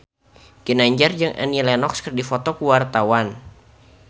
Ginanjar jeung Annie Lenox keur dipoto ku wartawan